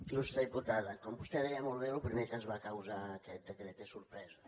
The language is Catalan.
il·lustre diputada com vostè deia molt bé el primer que ens va causar aquest decret és sorpresa